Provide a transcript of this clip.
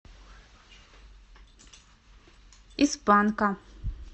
из панка